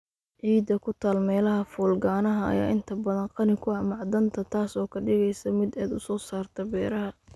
Ciidda ku taal meelaha foolkaanaha ayaa inta badan qani ku ah macdanta, taas oo ka dhigaysa mid aad u soo saarta beeraha.